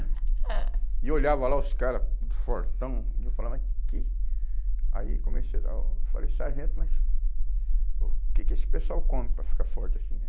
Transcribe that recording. E eu olhava lá os caras, tudo fortão, e eu falava, mas que... Aí comecei a... falei, sargento, mas o que que esse pessoal come para ficar forte assim, né?